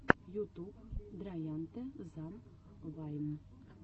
ютуб драянте зан вайн